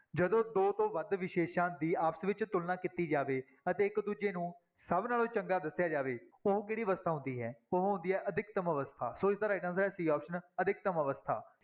ਜਦੋਂ ਦੋ ਤੋਂ ਵੱਧ ਵਿਸ਼ੇਸਾਂ ਦੀ ਆਪਸ ਵਿੱਚ ਤੁਲਨਾ ਕੀਤੀ ਜਾਵੇ ਅਤੇ ਇੱਕ ਦੂਜੇ ਨੂੰ ਸਭ ਨਾਲੋਂ ਚੰਗਾ ਦੱਸਿਆ ਜਾਵੇ, ਉਹ ਕਿਹੜੀ ਅਵਸਥਾ ਹੁੰਦੀ ਹੈ ਉਹ ਹੁੰਦੀ ਹੈ ਅਧਿਕਤਮ ਅਵਸਥਾ, ਸੋ ਇਸਦਾ right answer ਹੈ c option ਅਧਿਕਤਮ ਅਵਸਥਾ।